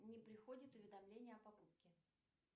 не приходит уведомление о покупке